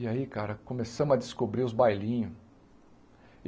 E aí, cara, começamos a descobrir os bailinhos.